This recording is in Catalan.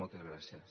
moltes gràcies